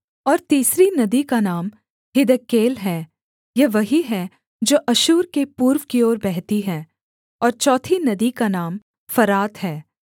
और तीसरी नदी का नाम हिद्देकेल है यह वही है जो अश्शूर के पूर्व की ओर बहती है और चौथी नदी का नाम फरात है